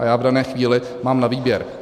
A já v dané chvíli mám na výběr.